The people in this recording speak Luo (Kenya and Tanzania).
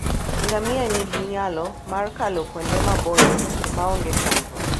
Ngamia nigi nyalo mar kalo kuonde maboyo maonge chandruok.